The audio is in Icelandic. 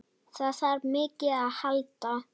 Það þarf mikið aðhald.